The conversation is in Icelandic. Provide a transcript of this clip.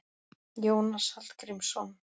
Jónas Hallgrímsson.